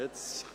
– Oh!